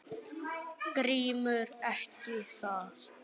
GRÍMUR: Ekki það?